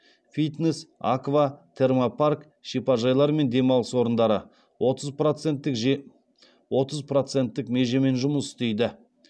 фитнес аква термопарк шипажайлар мен демалыс орындары отыз проценттік межемен жұмыс істейді